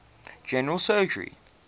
general surgery